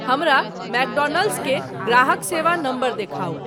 हमरा मैकडोनाल्ड्स के ग्राहक सेवा नंबर देखाउ